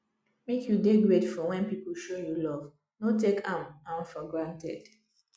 make you dey grateful when people show you love no take am am for granted